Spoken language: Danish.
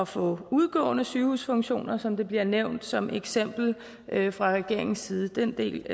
få udgående sygehusfunktioner som det bliver nævnt som eksempel fra regeringens side den del